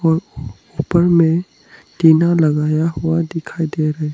ऊपर में टीना लगाया हुआ दिखाई दे--